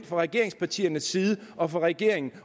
fra regeringspartiernes side og fra regeringen